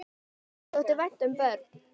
Tómasi þótti vænt um börn.